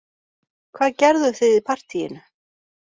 Hvað gerðuð þið í partíinu